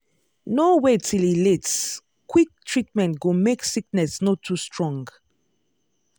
no wait till e late-quick treatment go make sickness no too strong.